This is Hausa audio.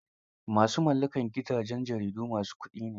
Ma su mallakar gidajen jaridu ma su kuɗi ne